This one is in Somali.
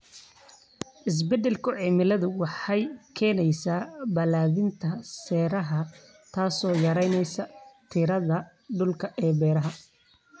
Isbeddelka cimiladu waxay keenaysaa balaadhinta saxaraha, taasoo yaraynaysa tirada dhulka ee beeraha.